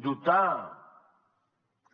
dotar